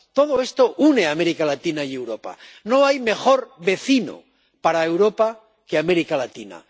Todo esto une a América Latina y a Europa. No hay mejor vecino para Europa que América Latina.